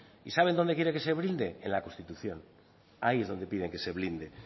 y saben dónde quiere que se blinde en la constitución ahí es donde piden que se blinde